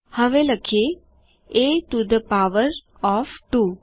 હવે લખીએ160 a to the power of 2